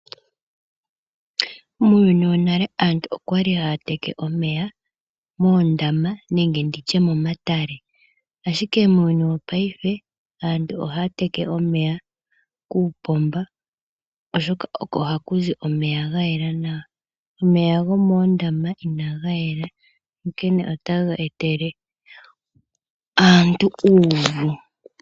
Muuyuni wonale aantu okwali haya teke omeya moondama nenge nditye momatale ashike muuyuni wopayife aantu ohaya teke omeya kuupomba oshoka oko hakuzi omeya gayela nawa omeya gomondama inaga yela onkene otaga etele aantu uuvu.